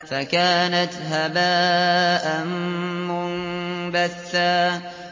فَكَانَتْ هَبَاءً مُّنبَثًّا